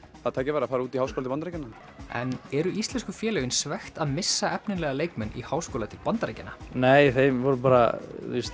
það tækifæri að fara út í háskóla til Bandaríkjanna en eru íslensku félögin svekkt að missa efnilega leikmenn í háskóla til Bandaríkjanna nei þeir voru bara